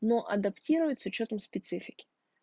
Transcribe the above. но адаптировать с учётом специфики